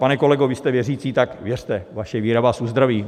Pane kolego, vy jste věřící, tak věřte, vaše víra vás uzdraví.